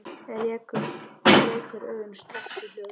Rekur augun strax í hjólið.